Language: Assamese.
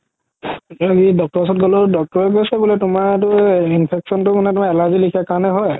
doctor ওচৰত গ'লো doctor কৈছে তুমাৰ এইটো infection তো মানে তুমাৰ allergy লেখিয়া কাৰণে হয়